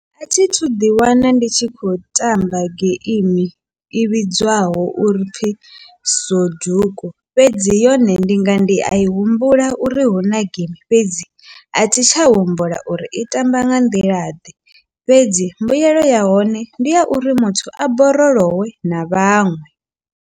A thithu ḓi wana ndi tshi khou tamba geimi i vhidzwaho uri pfhi soduku fhedzi yone ndi nga ndi a i humbula uri hu huna geimi fhedzi a thi tsha humbula uri i tamba nga nḓila ḓe, fhedzi mbuyelo ya hone ndi ya uri muthu a borolowe na vhaṅwe.